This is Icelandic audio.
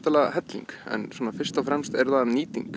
helling en fyrst og fremst er það nýting